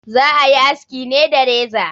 Za a yi aski ne da reza.